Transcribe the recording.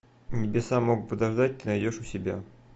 небеса могут подождать ты найдешь у себя